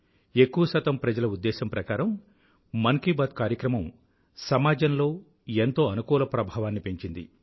ఎక్కువశాతం ప్రజల ఉద్దేశం ప్రకారం మన్ కీ బాత్ కార్యక్రమం సమాజంలో ఎంతో అనుకూల ప్రభావాన్ని పెంచింది